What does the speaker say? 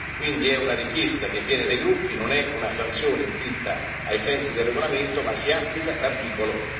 Quindi è una richiesta che viene dai gruppi, non è una sanzione inflitta ai sensi del regolamento, ma si applica l'articolo